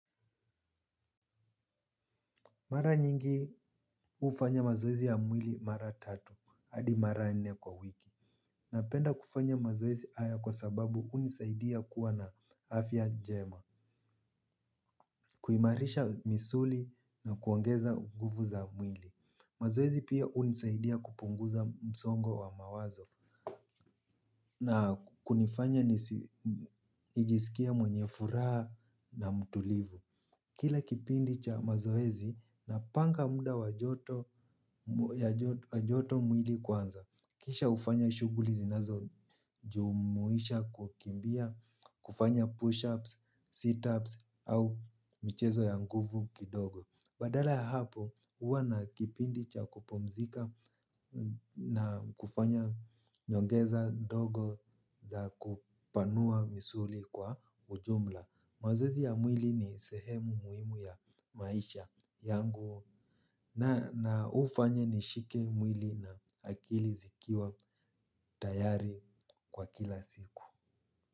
Mara nyingi hufanya mazoezi ya mwili mara tatu hadi mara nne kwa wiki. Napenda kufanya mazoezi haya kwa sababu hunisaidia kuwa na afya njema. Kuimarisha misuli na kuongeza nguvu za mwili mazoezi pia hunisaidia kupunguza msongo wa mawazo na kunifanya nijisikie mwenye furaha na mtulivu. Kila kipindi cha mazoezi napanga muda wa joto mwili kwanza. Kisha hufanya shughuli zinazojumuisha kukimbia, kufanya push-ups, sit-ups au michezo ya nguvu kidogo. Baada ya hapo huwa na kipindi cha kupumzika na kufanya nyongeza ndogo za kupanua misuli kwa ujumla. Mazoezi ya mwili ni sehemu muhimu ya maisha yangu na hufanya nishike mwili na akili zikiwa tayari kwa kila siku.